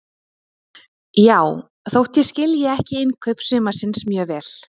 Já, þótt ég skilji ekki innkaup sumarsins mjög vel.